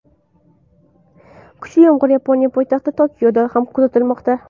Kuchli yomg‘ir Yaponiya poytaxti Tokioda ham kuzatilmoqda.